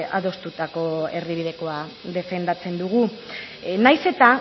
adostutako erdibidekoa defendatzen dugu nahiz eta